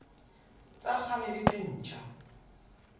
tsa kgale le tse ntjha